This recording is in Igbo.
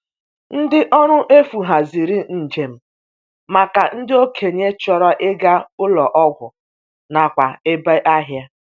Ndi ọrụ efu haziri njem maka ndị okenye chọrọ ịga ụlọ ọgwụ nakwa ebe ahịa.